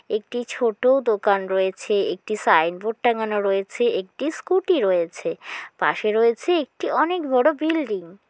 একটি ছোট দোকান রয়েছে একটি সাইনবোর্ড টাঙ্গানো রয়েছে একটি স্ক্যুটি রয়েছে পাশে রয়েছে একটি অনেক বড়ো বিল্ডিং ।